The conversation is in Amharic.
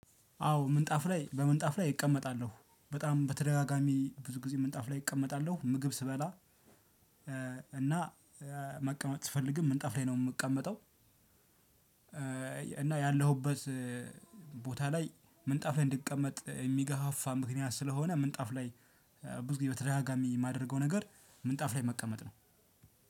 አዎ ምንጣፍ ላይ በምንጣፍ ላይ እቀመጣለሁ በጣም በተደጋጋሚ ብዙ ጊዜ ምንጣፍ ላይ እቀመጣለሁ ምግብ ስበላ። እና መቀመጥ ስፈልግም ምንጣፍ ላይ ነው የምቀመጠው። እና ያለሁበት ቦታ ላይ ምንጣፍ ላይ እንድቀመጥ የሚገፋፋ ምክንያት ስለሆነ ምንጣፍ ላይ ብዙ ጊዜ በተደጋጋሚ የማደርገው ነገር። ምንጣፍ ላይ መቀመጥ ነው።